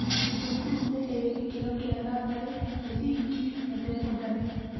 Thukuru nĩ ĩrĩ gĩkĩro kĩa natharĩ, mũthingi na thekondarĩ.